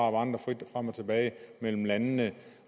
vandre frit frem og tilbage mellem landene